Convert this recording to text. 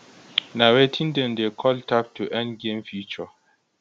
na wetin dem dey call tap to earn game feature